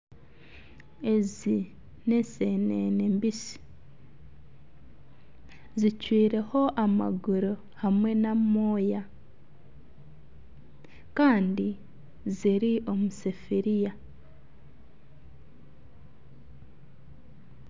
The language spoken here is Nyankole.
Ezi n'eseenene mbisi zicwireho amaguru hamwe n'amooya kandi ziri omu sefuriya